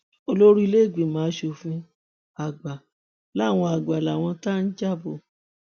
olórí ìlẹgbẹmọ asòfin àgbà lawan àgbà lawan ti já bò ó